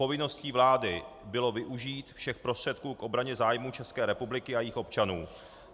Povinností vlády bylo využít všech prostředků k obraně zájmů České republiky a jejích občanů.